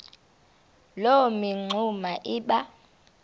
loo mingxuma iba